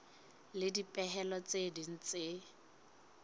le dipehelo tse ding tse